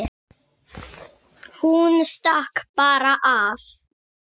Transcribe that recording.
Hún stakk bara af.